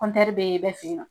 be bɛɛ fe yen nɔ